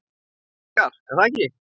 Þig langar, er það ekki?